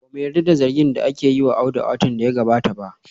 Ba mu yarda da zargin da aka yi wa Audu a watan da ya gabata ba